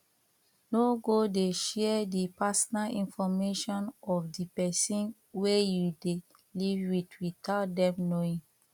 no go dey share the personal information of di person wey you dey live with without them knowing